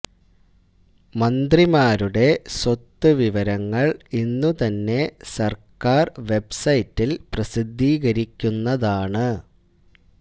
മന്ത്രിമാരുടെ സ്വത്ത് വിവരങ്ങള് ഇന്നു തന്നെ സര്ക്കാര് വെബ്സൈറ്റില് പ്രസിദ്ധീകരിക്കുന്നതാണ്